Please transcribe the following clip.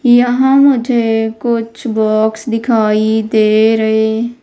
यहां मुझे कुछ बॉक्स दिखाई दे रहे--